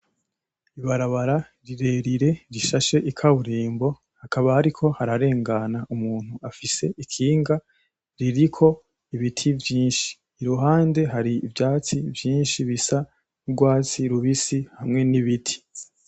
Ibarabara rirerire rishashe ikaburimbo, hakaba hariko hararengana umuntu afise ikinga ririko ibiti vyinshi, iruhande hari ivyatsi vyinshi bisa nk'urwatsi rubisi hamwe n'ibiti.